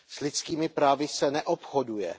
S lidskými právy se neobchoduje.